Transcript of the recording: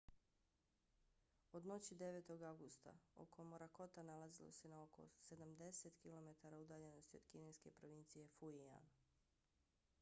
od noći 9. avgusta oko morakota nalazilo se na oko sedamdeset kilometara udaljenosti od kineske provincije fujian